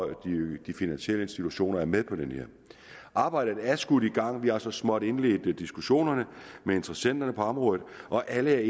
de finansielle institutioner er med arbejdet er skudt i gang vi har så småt indledt diskussionerne med interessenterne på området og alle